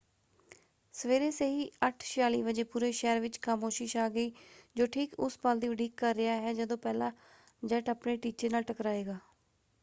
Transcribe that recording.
ਸਵੇਰੇ ਸਹੀ 8:46 ਵਜੇ ਪੂਰੇ ਸ਼ਹਿਰ ਵਿੱਚ ਖਾਮੋਸ਼ੀ ਛਾ ਗਈ ਜੋ ਠੀਕ ਉਸ ਪਲ ਦੀ ਉਡੀਕ ਕਰ ਰਿਹਾ ਹੈ ਜਦੋਂ ਪਹਿਲਾ ਜੈੱਟ ਆਪਣੇ ਟੀਚੇ ਨਾਲ ਟਕਰਾਏਗਾ।